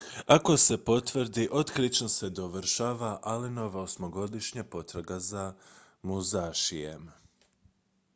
ako se potvrdi otkrićem se dovršava allenova osmogodišnja potraga za musashijem